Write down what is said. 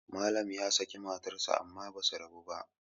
Malam ya saki matarsa amma ba su rabu ba